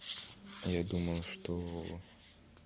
я думаю что